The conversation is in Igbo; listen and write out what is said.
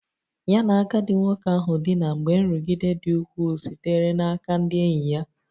Ya na agadi nwoke ahụ dina mgbe nrụgide dị ukwuu sitere n'aka ndị enyi ya